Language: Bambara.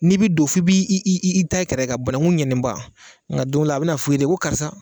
N'i bɛ don f'i b' iiii da i kɛrɛ kan bananku ɲɛnenba nka don dɔ la a bɛ na f'u i ye ten ko karisa.